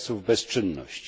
czasów bezczynności.